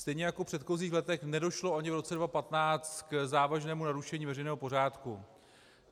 Stejně jako v předchozích letech nedošlo ani v roce 2015 k závažnému narušení veřejného pořádku.